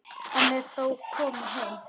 Hann er þó kominn heim.